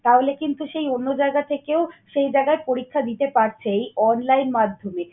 তাহলে কিন্তু সেই অন্য জায়গা থেকেও সেই জায়গায় পরীক্ষা দিতে পারছে এই online মাধ্যমে।